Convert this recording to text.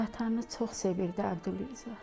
Vətəni çox sevirdi Əbdülrəza.